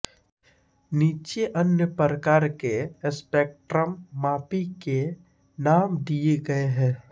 नीचे अन्य प्रकार के स्पेक्ट्रममापी के नाम दिए गए हैं